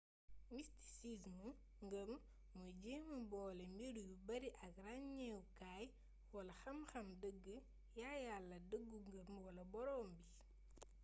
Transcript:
mistisism ngëm mooy jéema boole mbir yu bari ak ràññewukaay wala xam-xamu dëgg yàyàlla dëggu ngëm wala boroom bi